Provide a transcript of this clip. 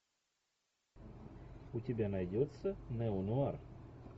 у тебя найдется неонуар